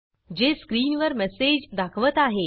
जे स्क्रीनवर मेसेज दाखवत आहे